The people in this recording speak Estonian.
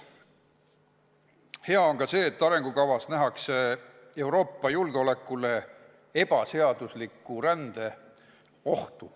Hea on ka see, et arengukavas nähakse Euroopa julgeolekule ebaseadusliku rände tekitatud ohtu.